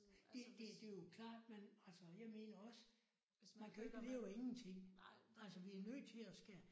Det det der er jo klart man altså jeg mener også man kan jo ikke leve af ingenting. Altså vi er nødt til at skal